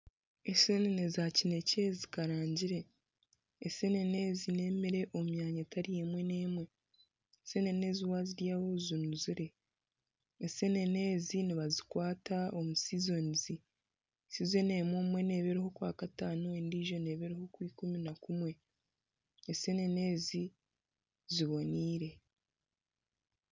Enseenene za kinekye zikarangire, enseenene ezi n'ebyokurya omu myanya emwe n'emwe. Enseenene ezi waziryaho zinuzire. Enseenene ezi nibazikwata omu sizonizi. Sizoni emwe neba eri omu kwakataano endiijo neeba eri omu kwaikumi na kumwe. Enseenene ezi ziboneire.